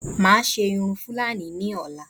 Máa ṣe irun Fúlàní náà ní ọ̀la